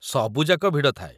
ସବୁଯାକ ଭିଡ଼ ଥାଏ ।